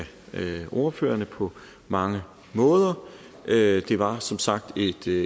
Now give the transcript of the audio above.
ordførerne på mange måder det var som sagt